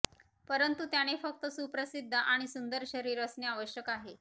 परंतु त्याने फक्त सुप्रसिद्ध आणि सुंदर शरीर असणे आवश्यक आहे